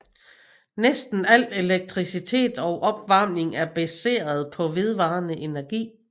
Næsten al elektricitet og opvarmning er baseret på vedvarende energi